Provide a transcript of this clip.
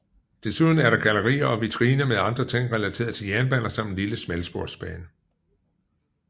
Desuden er der gallerier og vitriner med andre ting relateret til jernbaner samt en lille smalsporsbane